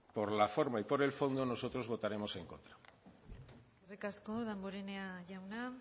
por la forma y por el fondo nosotros votaremos en contra eskerrik asko damborenea jauna